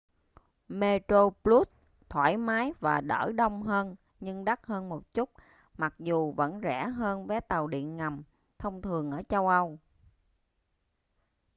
metroplus thoải mái và đỡ đông hơn nhưng đắt hơn một chút mặc dù vẫn rẻ hơn vé tàu điện ngầm thông thường ở châu âu